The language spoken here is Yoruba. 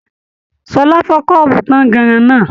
Ṣọlá fọ kọ́ọ́bú tànganran náà.